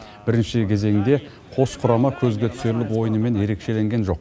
бірінші кезеңде қос құрама көзге түсерлік ойынымен ерекшеленген жоқ